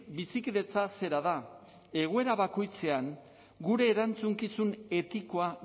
bizikidetza zera da egoera bakoitzean gure erantzukizun etikoa